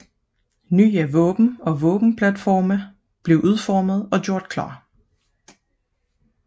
Nye våben og våbenplatforme blev udformet og gjort klar